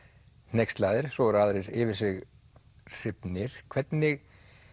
hneykslaðir svo voru aðrir sem yfir sig hrifnir hvernig